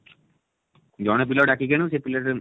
ଜଣେ ପିଲା କୁ ଡାକିକି ଆଣିବ ସେ ପିଲା ଟା